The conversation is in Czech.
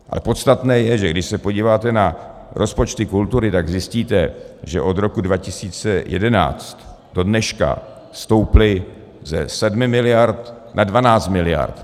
A podstatné je, že když se podíváte na rozpočty kultury, tak zjistíte, že od roku 2011 do dneška stouply ze 7 miliard na 12 miliard.